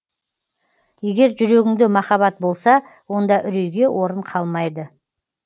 егер жүрегіңде махаббат болса онда үрейге орын қалмайды